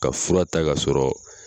Ka fura ta ka sɔrɔ